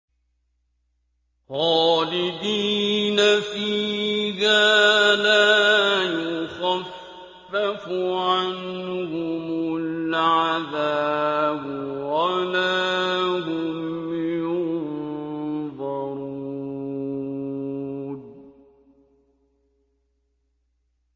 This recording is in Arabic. خَالِدِينَ فِيهَا لَا يُخَفَّفُ عَنْهُمُ الْعَذَابُ وَلَا هُمْ يُنظَرُونَ